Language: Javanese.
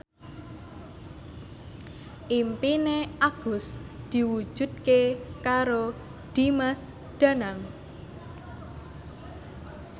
impine Agus diwujudke karo Dimas Danang